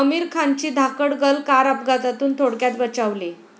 आमिर खानची 'Dhaakad Girl' car अपघातातून थोडक्यात बचावली